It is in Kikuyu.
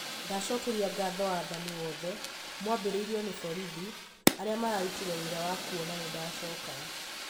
ndacokeria ngatho wathani wothe, mwambĩrĩirio nĩ borithi, ariamararũtire wĩra wa kũona nĩndacoka